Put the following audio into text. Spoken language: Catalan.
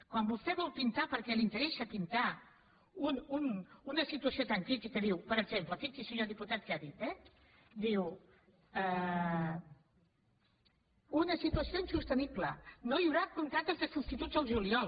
quan vostè vol pintar perquè li interessa pintar la una situació tan crítica diu per exemple fixi’s senyor diputat què ha dit una situació insostenible no hi haurà contractes de substituts el juliol